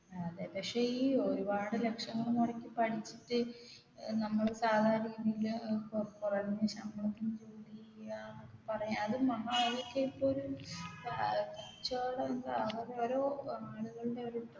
അതെ പക്ഷേ ഈ ഒരുപാട് ലക്ഷങ്ങള് മുടക്കി പഠിച്ചിട്ട് ഏർ നമ്മൾ സാധാ രീതിയില് ഏർ കു കുറഞ്ഞ ശമ്പളത്തിന് ജോലി ചെയ്യുകയന്നൊക്കെ പറയാ അത് മഹാ അതൊക്കെ ഇപ്പൊ ഒരു ഏർ കച്ചോടം ഏർ അതൊക്കെ ഒരു ആളുകളുടെ ഒരു